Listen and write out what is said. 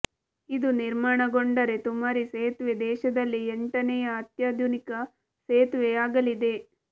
ಇದು ನಿರ್ಮಾಣಗೊಂಡರೆ ತುಮರಿ ಸೇತುವೆ ದೇಶದಲ್ಲಿ ಎಂಟನೆಯ ಅತ್ಯಾಧುನಿಕ ಸೇತುವೆ ಆಗಲಿದೆ